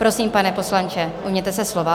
Prosím, pane poslanče, ujměte se slova.